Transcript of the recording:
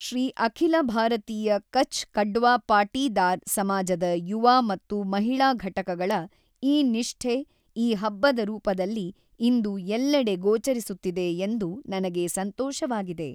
ಶ್ರೀ ಅಖಿಲ ಭಾರತೀಯ ಕಛ್ ಕಡ್ವಾ ಪಾಟೀದಾರ್ ಸಮಾಜದ ಯುವ ಮತ್ತು ಮಹಿಳಾ ಘಟಕಗಳ ಈ ನಿಷ್ಠೆ ಈ ಹಬ್ಬದ ರೂಪದಲ್ಲಿ ಇಂದು ಎಲ್ಲೆಡೆ ಗೋಚರಿಸುತ್ತಿದೆ ಎಂದು ನನಗೆ ಸಂತೋಷವಾಗಿದೆ.